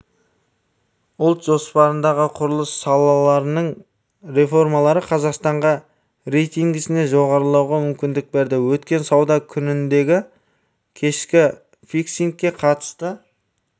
ұлт жоспарындағы құрылыс саласының реформалары қазақстанға рейтингісінде жоғарылауға мүмкіндік берді өткен сауда күніндегі кешкі фиксингке қатысты